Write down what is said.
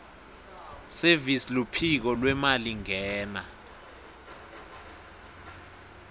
service luphiko lwemalingena